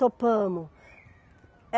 Topamos.